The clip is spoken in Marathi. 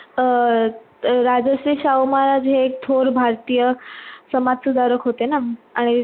अं राजश्री शाहू महाराज हे एक थोर भारतीय समाज सुधारक होते ना आणि